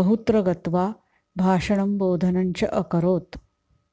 बहुत्र गत्वा भाषणं बोधनञ्च अकरोत्